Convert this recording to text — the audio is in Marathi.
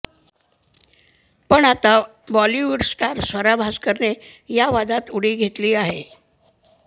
पण आता बॉलीवूड स्टार स्वरा भास्करने या वादात उडी घेतली आहे